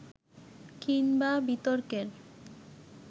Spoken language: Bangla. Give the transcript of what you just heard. কিংবা বিতর্কের